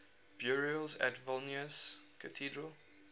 burials at vilnius cathedral